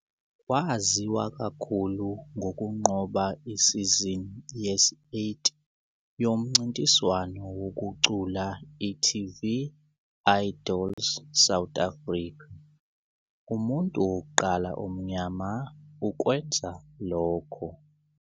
Waziwa kakhulu ngokunqoba isizini yesi-8 yomncintiswano wokucula iTV "Idols South Africa", umuntu wokuqala omnyama ukwenza lokho.